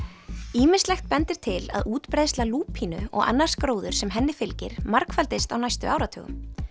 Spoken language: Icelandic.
ýmislegt bendir til að útbreiðsla lúpínu og annars gróðurs sem henni fylgir margfaldist á næstu áratugum